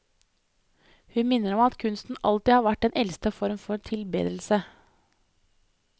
Hun minner om at kunsten alltid har vært den eldste form for tilbedelse.